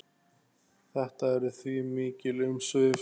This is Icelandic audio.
Þetta eru því mikil umsvif.